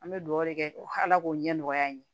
An bɛ dugawu kɛ ala k'o ɲɛmɔgɔya in ye